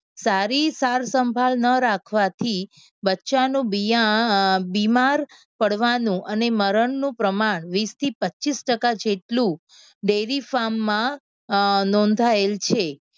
સારી સાર સંભાળ ન રાખવાથી બચ્ચાંનું બિયા અમ બીમાર પડવાનું અને મરણનું પ્રમાણ વીસથી પચ્ચીસ ટકા જેટલું dairy farm માં અમ નોંધાયેલ છે.